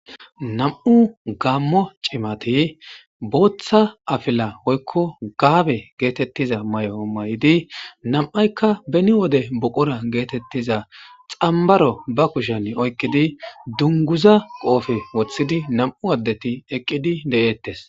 nam7u gaammo cimati booththa afila oykko gaabe geetettiza may7o may7di nam7aykka beni wode boqora geetettiza xambaro ba kushan oykkidi dunguza qoofe woththidi nam7u addeti eqqidi de7eettes